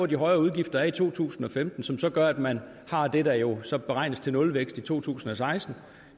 de højere udgifter i to tusind og femten som så gør at man har det der jo så beregnes til nulvækst i to tusind og seksten